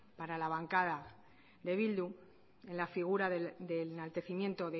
para la bancada de bildu en la figura del enaltecimiento